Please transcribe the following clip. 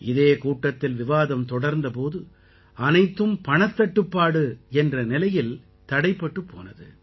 இதே கூட்டத்தில் விவாதம் தொடர்ந்த போது அனைத்தும் பணத்தட்டுப்பாடு என்ற நிலையில் தடைப்பட்டுப் போனது